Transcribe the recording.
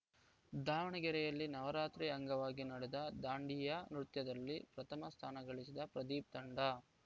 ದಾವಣಗೆರೆಯಲ್ಲಿ ನವರಾತ್ರಿ ಅಂಗವಾಗಿ ನಡೆದ ದಾಂಡಿಯಾ ನೃತ್ಯದಲ್ಲಿ ಪ್ರಥಮ ಸ್ಥಾನಗಳಿಸಿದ ಪ್ರದೀಪ್‌ ತಂಡ